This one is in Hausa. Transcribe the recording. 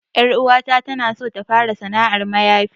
'Yar uwata na so ta fara sanar mayafi.